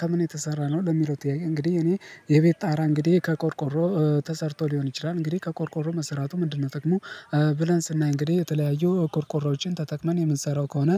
ከምን የተሰራ ነው? ለሚለው ጥያቄ እንግዲህ እኔ የቤት ጣራ እንግዲህ ከቆርቆሮ ተሰርቶ ሊሆን ይችላል። እንግዲህ ከቆርቆሮ መሰራቱ ምንድነው ጥቅሙ? ብለን ስናይ እንግዲህ የተለያዩ ቆርቆሮዎችን ተጥቅመን የምንሰራው ከሆነ